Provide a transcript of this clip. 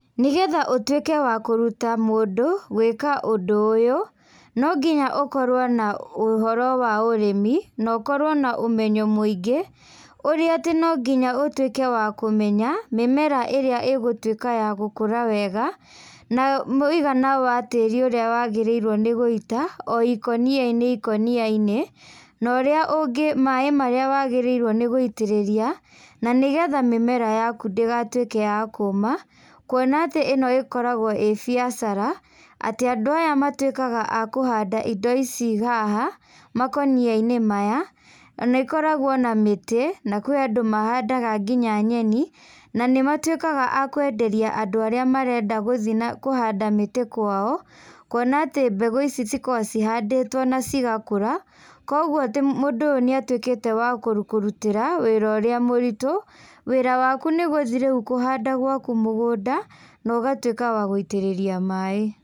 Nĩgetha ũtuĩke wa kũruta mũndũ gwĩka ũndũ ũyũ, no nginya ũkorwo na ũhoro wa ũrimi, na ũkorwo na ũmenyo mũingĩ, ũrĩa atĩ no nginya ũtuĩke wa kũmenya, mĩmera irĩa igũtuĩka ya gũkũra wega, na muigana wa tĩri ũrĩa wagĩrĩirwo nĩ guita o ikũniainĩ ikũniainĩ, na ũrĩa ũngĩ maĩ marĩa wagĩrĩirwo nĩguitĩrĩria, na nĩgetha mĩmera yaku ndĩgatuĩke ya kũma, kuona atĩ ĩno ĩkoragwo ĩ biacara, atĩ andũ aya matuĩkaga a kũhanda indo ici haha, makoniainĩ maya, na ĩkoragwo na mĩti, na kũrĩ andũ mahandaga nginya nyeni, na nĩmatuĩkaga a kwenderia andũ arĩa marenda gũthi na kũhanda mĩtĩ kwao, kuona atĩ mbegu cikoragwo cihandĩtwo na cigakũra, koguo ti mũndũ ũyũ nĩatuĩkĩte wa kũrutĩra wĩra ũrĩa mũritũ, wĩra waku nĩgũthiĩ rĩũ nĩgũthiĩ kũhanda gwaku mũgũnda, na ũgatuĩka wa gũitĩrĩria maĩ.